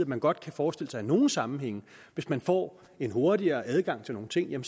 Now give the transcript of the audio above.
man godt kan forestille sig det i nogle sammenhænge hvis man får en hurtigere adgang til nogle ting kan